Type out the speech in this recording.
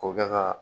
K'o kɛ ka